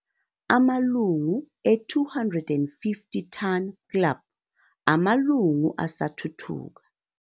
Amalungu e-250 Ton Club, amalungu asathuthuka,